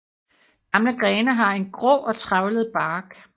Gamle grene har en grå og trævlet bark